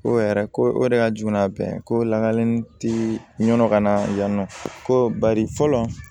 Ko yɛrɛ ko o de ka jugu n'a bɛn ko lalen tɛ nɔnɔ ka na yan nɔ ko bari fɔlɔ